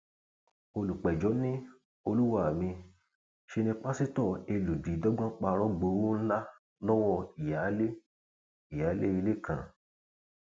olùpẹjọ ni olúwa mi ṣe ní pásítọ elùdí dọgbọn parọ gbowó ńlá lọwọ ìyáálé ìyáálé ilé kan